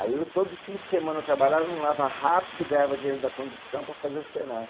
Aí eu todos os fim de semana trabalhava no Lava Rápido, ganhava dinheiro da condução para fazer o Senai.